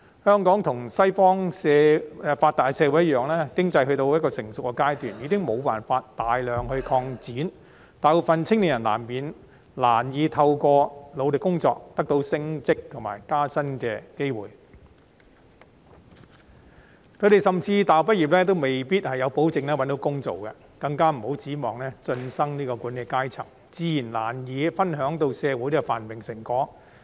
香港與西方發達的社會一樣，經濟已到了成熟階段，無法大幅擴展，大部分青年人難以透過努力工作得到升職及加薪的機會，甚至大學畢業亦未必可以保證找到工作，更別指望進身管理階層，這樣，他們自然難以分享到社會繁榮的成果。